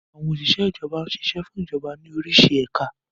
Àwọn Òsìsẹ́ Ìjọba ṣiṣẹ́ fún Ìjọba ní orísi ẹ̀ka